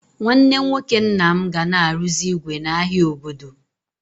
Nwanne nwoke nna m ga na arụzi ígwè n'ahia obodo.